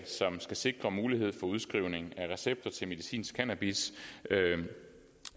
som skal sikre mulighed for udskrivning af recepter til medicinsk cannabis